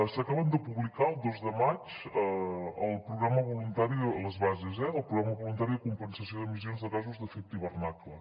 s’acaben de publicar el dos de maig les bases del programa voluntari de compensació d’emissions de gasos d’efecte hivernacle